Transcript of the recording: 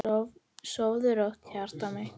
Sofðu rótt, hjartað mitt.